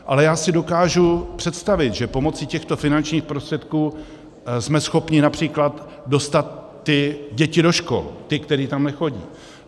Ale já si dokážu představit, že pomocí těchto finančních prostředků jsme schopni například dostat ty děti do škol, ty, které tam nechodí.